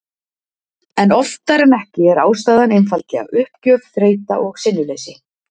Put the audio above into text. En oftar en ekki er ástæðan einfaldlega uppgjöf, þreyta og sinnuleysi.